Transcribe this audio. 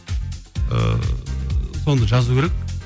ыыы соны жазу керек